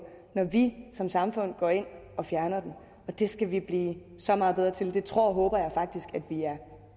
når vi som samfund går ind og fjerner dem det skal vi blive så meget bedre til og det tror og håber jeg faktisk at vi er